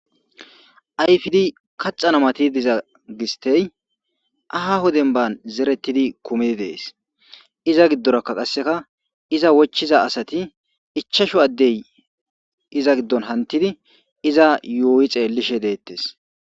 Ayfidi kaxana mati diza gistey aha hoden ban zerettidi kumidi dees iza giddorakka qasseka iza wochiza asati ichashu addey iza giddon hantidi iza yooyi xeellishe deettes